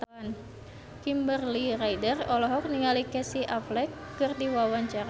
Kimberly Ryder olohok ningali Casey Affleck keur diwawancara